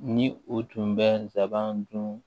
Ni u tun bɛ nsaban dun